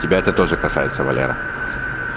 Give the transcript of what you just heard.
тебя это тоже касается валера